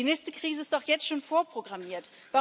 Die nächste Krise ist doch jetzt schon vorprogrammiert.